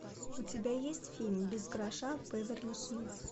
у тебя есть фильм без гроша в беверли хиллз